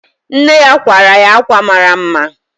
Nne ya kwara ya ákwà mara mma.